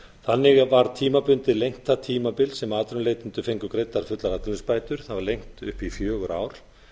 þannig var það tímabil sem atvinnulausir fengu greiddar fullar atvinnuleysisbætur lengt tímabundið það var lengt upp í fjögur ár